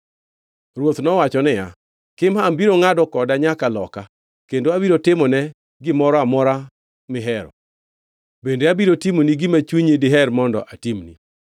Ruoth nowacho niya, “Kimham biro ngʼado koda nyaka loka. Kendo abiro timo ne gimoro amora mihero. Bende abiro timoni gima chunyi diher mondo atimni.”